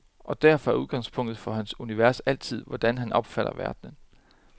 Og derfor er udgangspunktet for hans univers altid, hvordan han opfatter verden.